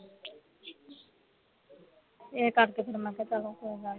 ਇਹ ਕਰਕੇ ਫੇਰ ਮੈਂ ਕਿਹਾ ਚਲੋ ਕੋਈ ਗੱਲ ਨਹੀਂ